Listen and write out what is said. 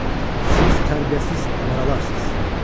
Siz tərbiyəsiz avaralarsız.